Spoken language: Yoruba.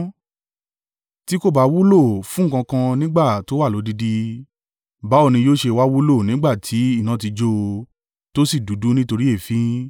Tí kò bá wúlò fún nǹkan kan nígbà tó wà lódidi, báwo ni yóò ṣe wá wúlò nígbà tí iná ti jó o, tó sì dúdú nítorí èéfín?